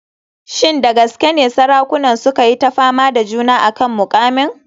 Shin da gaske ne sarakunan suka yi ta fama da juna a kan muƙamin?